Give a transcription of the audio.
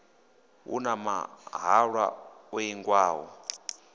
hu na mahalwa o ingiwaho